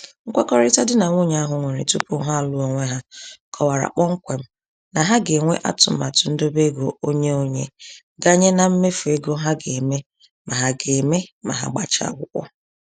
Nkwekọrịta di na nwunye ahụ nwere tupu ha alụọ onwe ha kọwara kpọmkwem na ha ga-enwe atụmatụ ndobeego onye-onye, ganye na mmefu ego ha ga-eme ma ha ga-eme ma ha gbachaa akwụkwọ.